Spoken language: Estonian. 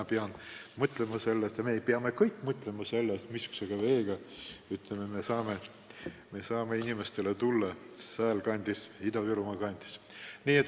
Ma pean sellele mõtlema ja me peame kõik sellele mõtlema, missugust vett joovad Ida-Virumaa elanikud.